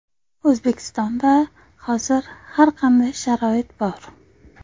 O‘zbekistonda hozir har qanday sharoit bor.